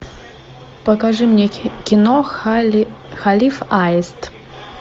покажи мне кино халиф аист